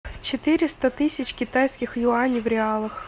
четыреста тысяч китайских юаней в реалах